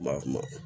Ba kuma